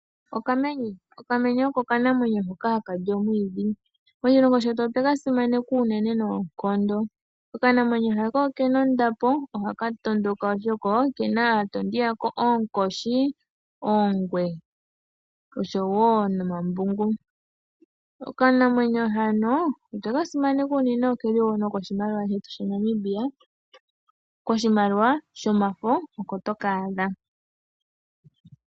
Okamenye oko okanamwenyo hono haka li omwiidhi. Moshilongo shetu otwe ka simaneka noonkondo. Okanamwenyo haka oke na ondapo, ohaka tondoka oshoka oke na aatondi yako oonkoshi, oongwe oshowo nomabungu. Okanamwenyo hano otwe ka simaneka unene, oke li wo nokoshimaliwa shetu shaNamibia. Koshimaliwa shomafo, oko toka adha.